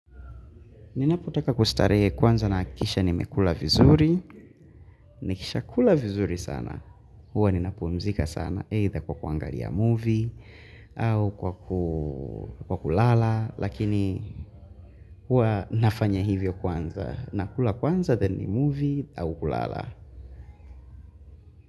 Ninapotaka kustarehe kwanza nahakikisha nimekula vizuri. Nikisha kula vizuri sana. Huwa ninapumzika sana. Either kwa kuangalia movie. Au kwa kulala. Lakini huwa nafanya hivyo kwanza. Nakula kwanza then ni movie au kulala.